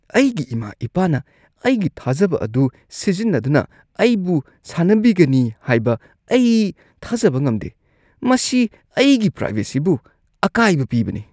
ꯑꯩꯒꯤ ꯏꯃꯥ-ꯏꯄꯥꯅ ꯑꯩꯒꯤ ꯊꯥꯖꯕ ꯑꯗꯨ ꯁꯤꯖꯤꯟꯅꯗꯨꯅ ꯑꯩꯕꯨ ꯁꯥꯟꯅꯕꯤꯒꯅꯤ ꯍꯥꯏꯕ ꯑꯩ ꯊꯥꯖꯕ ꯉꯝꯗꯦ꯫ ꯃꯁꯤ ꯑꯩꯒꯤ ꯄ꯭ꯔꯥꯏꯕꯦꯁꯤꯕꯨ ꯑꯀꯥꯏꯕ ꯄꯤꯕꯅꯤ꯫